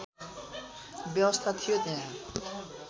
व्यवस्था थियो त्यहाँ